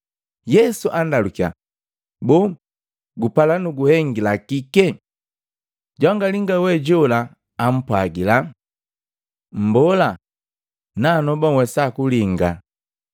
Yesu andalukiya, “Boo gupala nuguhengila kike?” Jwanga linga we jola ampwagila. “Mbola, nanoba nhwesa kulinga.”